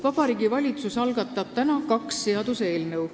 Vabariigi Valitsus algatab täna kaks seaduseelnõu.